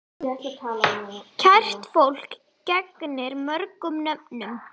Kært fólk gegnir mörgum nöfnum.